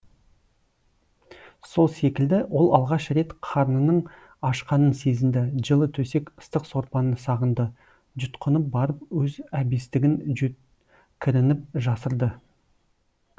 сол секілді ол алғаш рет қарнының ашқанын сезінді жылы төсек ыстық сорпаны сағынды жұтқынып барып өз әбестігін жөткірініп жасырды